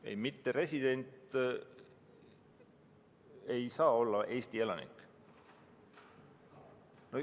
Ei, mitteresident ei saa olla Eesti elanik.